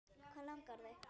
Hvað langar þig?